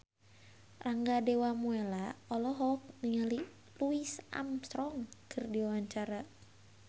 Rangga Dewamoela olohok ningali Louis Armstrong keur diwawancara